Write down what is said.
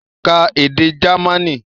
Ka èdè Jamaní!